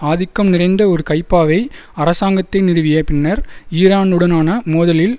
ஆதிக்கம் நிறைந்த ஒரு கைப்பாவை அரசாங்கத்தை நிறுவிய பின்னர் ஈரானுடனான மோதலில்